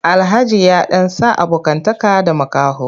Alhaji ya ɗan sa abokantaka da makaho.